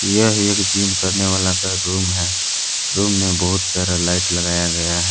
यह एक जिम करने वाला का रूम है रूम में बहुत सारा लाइट लगाया गया है।